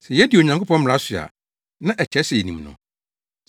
Sɛ yedi Onyankopɔn mmara so a, na ɛkyerɛ sɛ yenim no.